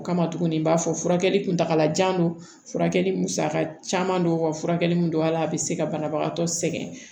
O kama tuguni n b'a fɔ furakɛli kuntala jan don furakɛli musaka caman don wa furakɛli mun don ala a bɛ se ka banabagatɔ sɛgɛn